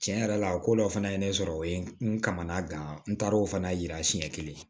Tiɲɛ yɛrɛ la o ko dɔ fana ye ne sɔrɔ o ye n kamana gan n taar'o fana yira siɲɛ kelen